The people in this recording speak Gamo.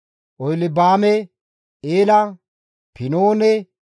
Oholibaame, Eela, Pinoone,